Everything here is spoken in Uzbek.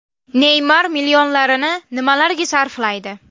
Neymar millionlarini nimalarga sarflaydi?.